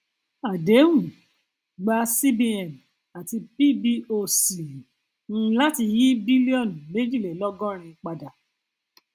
àdéhùn gba cbn àti pboc um láti yí bílíọnù méjìlélọgọrin padà